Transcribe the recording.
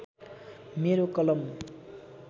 मेरो कलम